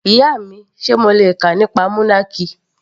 Ìyá mi, Sé mo le kà nípa monarchy?.